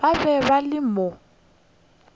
ba be ba le mo